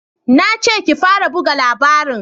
Na ce ki fara buga labarin!